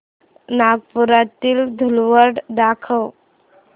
नागपुरातील धूलवड दाखव